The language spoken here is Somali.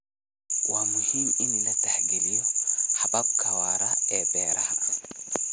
Waa muhiim in la tixgeliyo hababka waara ee beeraha.